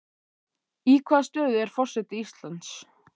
Í hvaða stöðu er forseti Íslands?